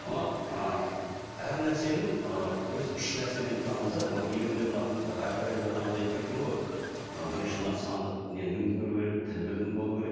мынау ы әр нәрсенің ы біз үш нәрседен тұрамыз да егер де мынау әл фараби атамыз айтып кеткен ғой мына бірінші мына сандық тіл білімі болуы керек